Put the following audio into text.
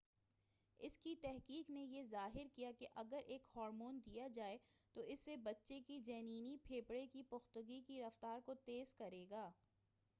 اُس کی تحقیق نے یہ ظاہر کیا کہ اگر ایک ہارمون دیا جائے تو اس سے بچّے کے جنینی پھیپھڑے کی پُختگی کی رفتار کو تیز کرے گا